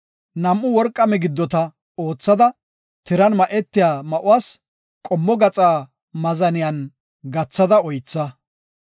Nam7u worqa migiddota oothada, tiran ma7etiya ma7uwas qommo gaxa maazaniyan gathada oytha.